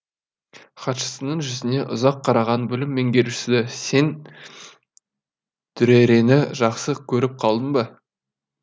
хатшысының жүзіне ұзақ қараған бөлім меңгерушісі сен дүрэрэні жақсы көріп қалдың ба